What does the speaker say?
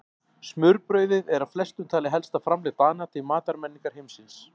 Smurbrauðið er af flestum talið helsta framlag Dana til matarmenningar heimsins.